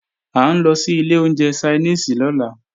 À ń lọ sí ilé oúnjẹ Ṣainíìsì lọ́la